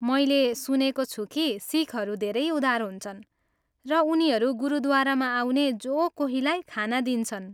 मैले सुनेको छु कि सिखहरू धेरै उदार हुन्छन्, र उनीहरू गुरुद्वारामा आउने जो कोहीलाई खाना दिन्छन्।